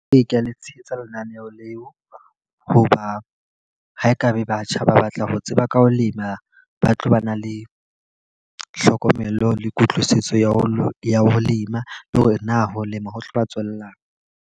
Ee, ke a le tshehetsa lenaneo leo. Ho ba ho e ka be batjha ba batla ho tseba ka ho lema, ba tlo ba na le tlhokomelo le kutlwisiso ya ho ya ho lema. Le hore na ho lema ho tlo ba tswelang.